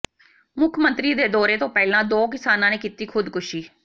ਮੁੱਖ ਮੰਤਰੀ ਦੇ ਦੌਰੇ ਤੋਂ ਪਹਿਲਾਂ ਦੋ ਕਿਸਾਨਾਂ ਨੇ ਕੀਤੀ ਖ਼ੁਦਕੁਸ਼ੀ